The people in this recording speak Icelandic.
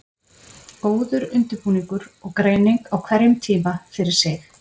Góður undirbúningur og greining á hverjum tíma fyrir sig.